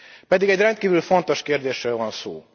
Pedig egy rendkívül fontos kérdésről van szó.